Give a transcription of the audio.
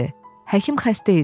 Həkim xəstə idi.